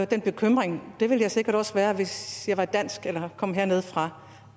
den bekymring jeg ville sikkert også være bekymret hvis jeg var dansk eller kom hernedefra